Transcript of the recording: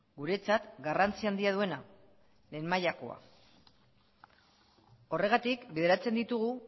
guretzat garrantzi handia duena lehen mailakoa horregatik bideratzen ditugu